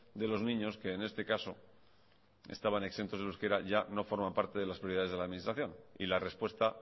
de los niños que en este caso estaban exentos del euskera ya no forman parte de las prioridades de la administración y la respuesta